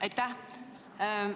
Aitäh!